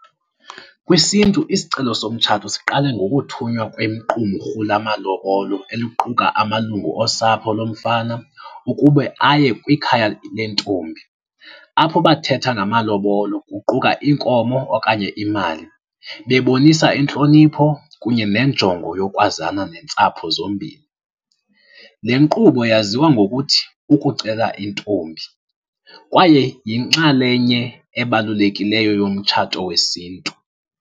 KwisiNtu isicelo somtshato siqale ngokuthunywa kwequmrhu lamalobolo eliquka amalungu osapho lomfana ukube aye kwikhaya lentombi apho bathetha ngamalobolo kuquka iinkomo okanye imali bebonisa intlonipho kunye nenjongo yokwazana neentsapho zombini. Le nkqubo yaziwa ngokuthi kukucela intombi kwaye yinxalenye ebalulekileyo yomtshato wesintu.